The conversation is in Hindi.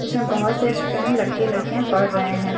इसमें बहोत से फ्रैंड लड़के लड़कियां पढ़ रहे हैं।